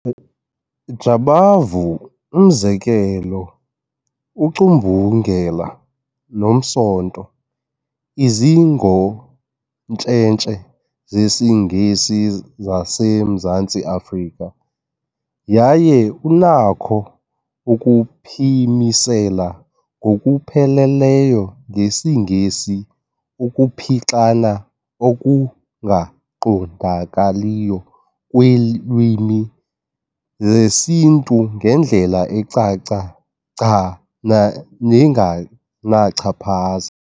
Jabavu, umzekelo ---ucumbungela nomsonto izingontsentse zesiNgesi zaseMzantsi Afrika yaye unakho ukuphimisela ngokupheleleyo ngesiNgesi ukuphixana okungaqondakaliyo kweelwimi zesiNtu ngendlela ecace gca nengenachaphaza.